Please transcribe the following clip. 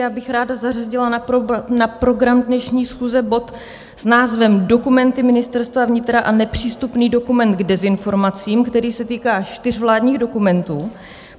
Já bych ráda zařadila na program dnešní schůze bod s názvem Dokumenty Ministerstva vnitra a nepřístupný dokument k dezinformacím, který se týká čtyř vládních dokumentů.